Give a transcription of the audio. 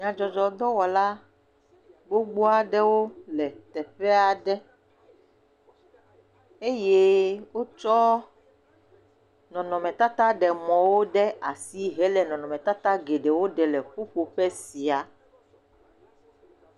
Nyadzɔdzɔ dɔwɔla gbogbo aɖewo le teƒe aɖe eye wotsɔ nɔnɔmetata ɖemɔwo ɖe asi hele nɔnɔmetata geɖewo ɖem le ƒuƒoƒe sia.